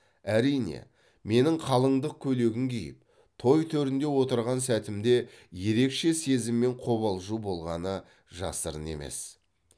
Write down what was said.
әрине менің қалыңдық көйлегін киіп той төрінде отырған сәтімде ерекше сезім мен қобалжу болғаны жасырын емес